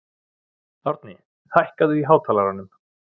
Árni, hækkaðu í hátalaranum.